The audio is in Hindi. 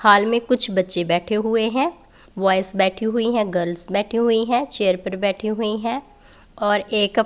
हॉल में कुछ बच्चे बैठे हुए हैं ब्वॉयज़ बैठी हुई हैं गर्ल्स बैठी हुई हैं चेयर पर बैठी हुई हैं और एक--